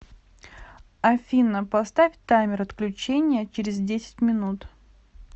афина поставь таймер отключения через десять минут